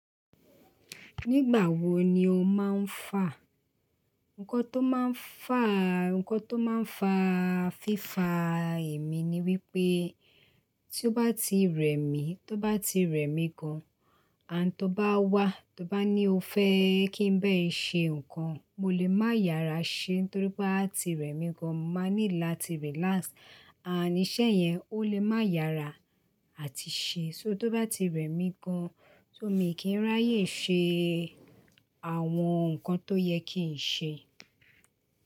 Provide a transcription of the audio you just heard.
Nígbà wo ni o máa ń fà? Ǹkọ tó máa ń fà, Ǹkọ tó máa ń fa fífà èmi ni wípé tí ó bá ti rẹ̀ mí, tó bá ti rẹ̀ mí gan, And tó bá wá, tó bá ní ó fẹ́ kí n bẹ́ẹ̀ ṣe nǹkan, mo lè má yára ṣe, torí pé a ti rẹ̀ mí gan, mo máa nílò láti relax. Àníṣẹ́ yẹn o lè má yára àti ṣe, só tó bá ti rẹ̀ mí gan, so mi kì í ráyè ṣe àwọn nǹkan tó yẹ kí n ṣe.